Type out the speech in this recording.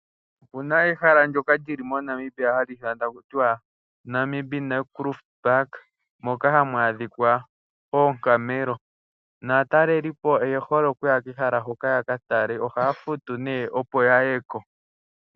Opuna ehala ndyoka lili moNamibia hali ithanwa taku tiwa Namin Naukluft Park, moka hamu adhika oongamelo, naatalelipo oye hole okuya kehala hoka, yaka tale, ohaya futu ne opo ya yeko.